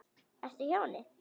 Ertu hjá henni?